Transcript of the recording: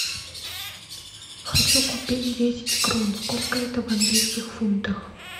хочу купить десять крон сколько это в английских фунтах